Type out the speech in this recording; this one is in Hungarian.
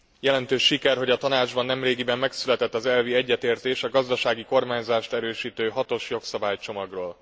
Jelentős siker, hogy a Tanácsban nemrégiben megszületett az elvi egyetértés a gazdasági kormányzást erősítő hatos jogszabálycsomagról.